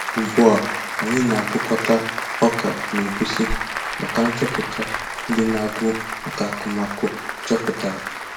Ugbu a, anyị na-akụkọta ọka na egusi maka nchọpụta ndị na agụ maka akụmakụ chọpụtara